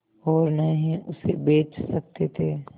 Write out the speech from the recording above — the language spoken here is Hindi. और न ही उसे बेच सकते थे